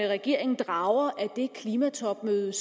regeringen drager af det klimatopmøde